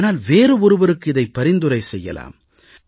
ஆனால் வேறு ஒருவருக்கு இதை பரிந்துரை செய்யலாம்